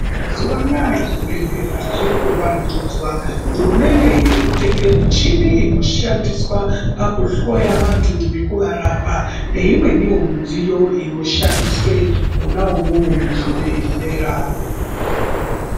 Mazuva anaa zvibhedhlera zviri kuvandudzwa, hurumende iri kutenge michini inoshandiswa pakuhloya vantu nekuvarapa, neimweniwo midziyo inoshandiswe mwona umwomwo muzvibhedhlera.